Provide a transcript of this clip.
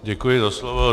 Děkuji za slovo.